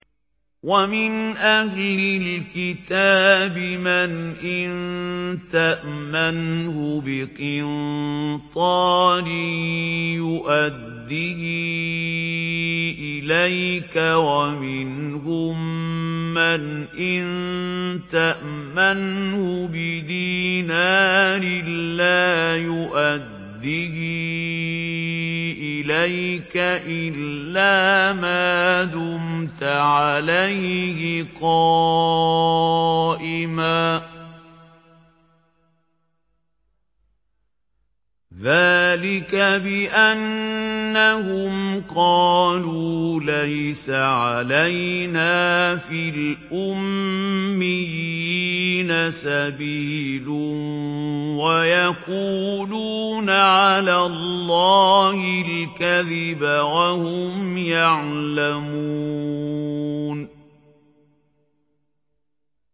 ۞ وَمِنْ أَهْلِ الْكِتَابِ مَنْ إِن تَأْمَنْهُ بِقِنطَارٍ يُؤَدِّهِ إِلَيْكَ وَمِنْهُم مَّنْ إِن تَأْمَنْهُ بِدِينَارٍ لَّا يُؤَدِّهِ إِلَيْكَ إِلَّا مَا دُمْتَ عَلَيْهِ قَائِمًا ۗ ذَٰلِكَ بِأَنَّهُمْ قَالُوا لَيْسَ عَلَيْنَا فِي الْأُمِّيِّينَ سَبِيلٌ وَيَقُولُونَ عَلَى اللَّهِ الْكَذِبَ وَهُمْ يَعْلَمُونَ